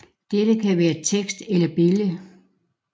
Dette kan være tekst eller billede